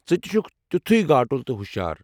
ژٕ تہِ چھُکھ تیُتھُے گاٹُل تہٕ ہٗشار۔